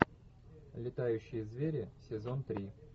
летающие звери сезон три